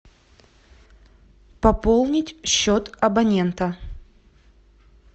пополнить счет абонента